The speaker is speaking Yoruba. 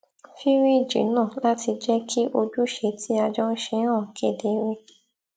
fìríìjì náà láti jẹ kí ojúṣe tí a jọ n ṣe hàn kedere